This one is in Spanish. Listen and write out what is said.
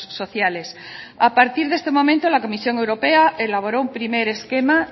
sociales a partir de este momento la comisión europea elaboró un primer esquema